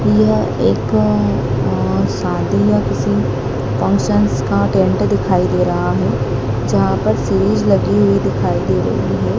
यह एक और शादी या किसी फंक्शंस का टेंट दिखाई दे रहा है। जहाँ पर सीरीज़ लगी हुई दिखाई दे रही है।